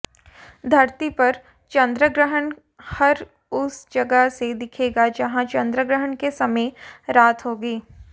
धरती पर चन्द्रग्रहण हर उस जगह से दिखेगा जहां चन्द्रग्रहण के समय रात होगी